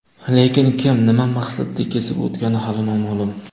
Lekin kim, nima maqsadda kesib ketgani hali noma’lum.